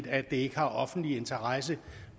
og rigtig